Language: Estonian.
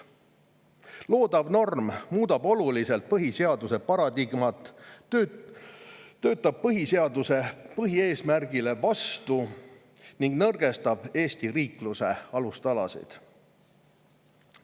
Loodav norm muudab oluliselt põhiseaduse paradigmat, töötab põhiseaduse põhieesmärgile vastu ning nõrgestab Eesti riikluse alustalasid.